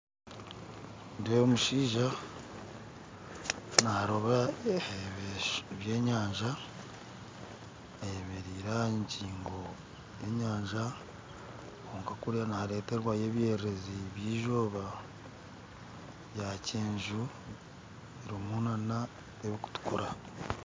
Nindeeba omushaija narooba ebyenyanja ayemereire aha ngingo y'enyanja kwonka kuriya nihareterwayo ebyererezi by'izooba ebyakyeju harimu na n'ebikutukura